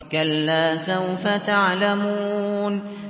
كَلَّا سَوْفَ تَعْلَمُونَ